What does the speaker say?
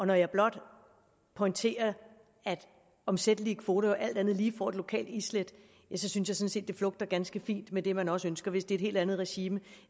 når jeg blot pointerer at omsættelige kvoter jo alt andet lige får et lokalt islæt så synes jeg sådan set det flugter ganske fint med det man også ønsker hvis det er et helt andet regime